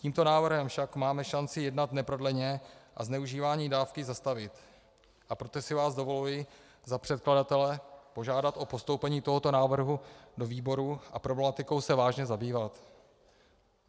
Tímto návrhem však máme šanci jednat neprodleně a zneužívání dávky zastavit, a proto si vás dovoluji za předkladatele požádat o postoupení tohoto návrhu do výboru a problematikou se vážně zabývat.